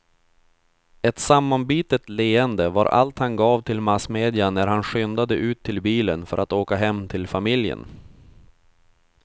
Ett sammanbitet leende var allt han gav till massmedia när han skyndade ut till bilen för att åka hem till familjen.